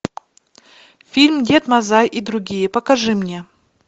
фильм дед мазай и другие покажи мне